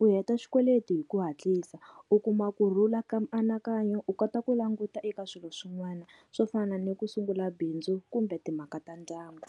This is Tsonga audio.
u heta xikweleti hi ku hatlisa u kuma kurhula ka mianakanyo u kota ku languta eka swilo swin'wana swo fana ni ku sungula bindzu kumbe timhaka ta ndyangu.